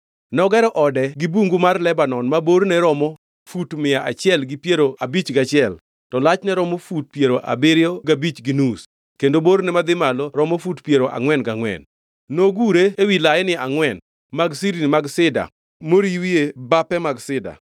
Nogero ode gi Bungu mar Lebanon ma borne romo fut mia achiel gi piero abich gachiel to lachne romo fut piero abiriyo gabich gi nus kendo borne madhi malo romo fut piero angʼwen gangʼwen. Nogure ewi laini angʼwen mag sirni mag sida moriwie bape mag sida.